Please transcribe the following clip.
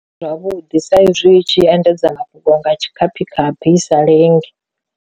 Zwavhuḓi sa izwi i tshi endedza mafhungo nga tshikhaphikhaphi i sa lenge.